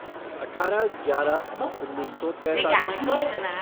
अठारह ग्यारह उन्नीस सौ तैंतालीस